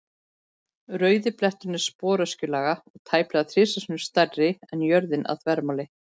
Rauði bletturinn er sporöskjulaga og tæplega þrisvar sinnum stærri en jörðin að þvermáli.